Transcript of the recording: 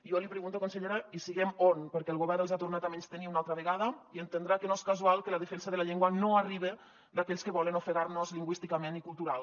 jo li pregunto consellera hi siguem on perquè el govern els ha tornat a menystenir una altra vegada i entendrà que no és casual que la defensa de la llengua no arriba d’aquells que volen ofegar nos lingüísticament i cultural